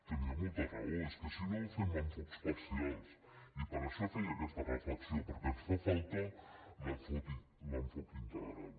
tenia molta raó és que si no fem enfocaments parcials i per això feia aquesta reflexió perquè ens fa falta l’enfocament integral